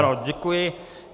Ano, děkuji.